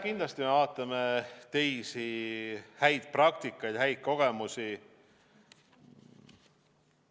Kindlasti me vaatame teisi häid praktikaid, häid kogemusi.